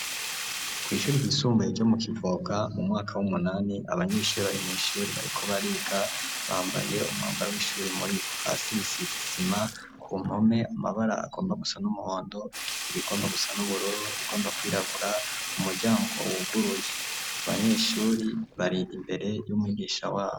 Kw'ishuri ryisumbuye ro mu kivoka mu mwaka w'umunani abanyeshuri barimw'ishuri bariko bariga bambaye umwambara w'ishuri muribo hasi risizisima ku mpome amabara agomba gusa n'umuhondo irigomba gusa n'ubururo rigomba kwirabura umuryango wuguruye abanyeshuri bariga imbere y'umwigisha.